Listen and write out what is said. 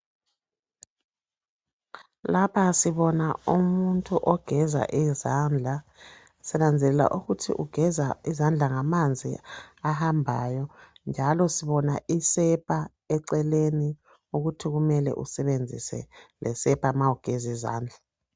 Lapha sibona umuntu ogeza izandla. Sinanzelela ukuthi ugeza ngamanzi ahambayo. Njalo sibona isepa eceleni ukuthi kumele usebenzise lesepa ma ugezizandla.